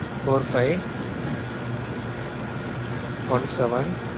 four-five one-seven